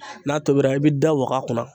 N'a tobira, i bɛ da waga.